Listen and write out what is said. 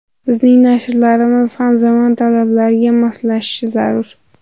Bizning nashrlarimiz ham zamon talablariga moslashishi zarur.